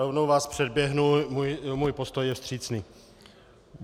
Rovnou vás předběhnu, můj postoj je vstřícný.